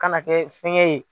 Ka na kɛ fɛgɛ ye.